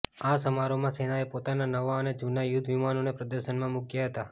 આ સમારોહમાં સેનાએ પોતાના નવા અને જુના યુધ્ધ વિમાનોને પ્રદર્શનમાં મૂક્યા હતા